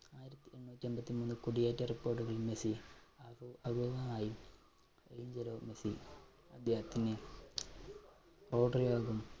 കുടിയേറ്റ report കൾ Messi Angelo Messi അദ്ദേഹത്തിന്